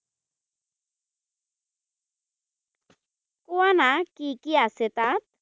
কোৱানা কি কি আছে তাত?